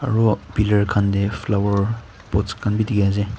aru pillar khan te flowerpots khan bi dikhi ase.